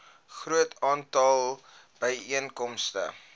groot aantal byeenkomste